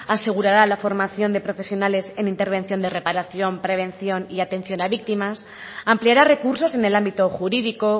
asegurará la formación de profesionales en intervención de reparación prevención y atención a víctimas ampliará recursos en el ámbito jurídico